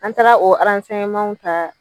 An taara o arasɛnɲemanw ta